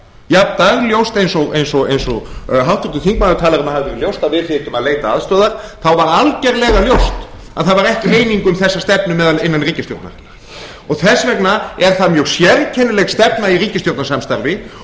jafn dagljóst eins og háttvirtur þingmaður talaði um að það hefði verið ljóst að við þyrftum að leita aðstoðar þá var algjörlega ljóst að það var ekki eining um þessa stefnu innan ríkisstjórnarinnar þess vegna er það mjög sérkennileg stefna í ríkisstjórnarsamstarfi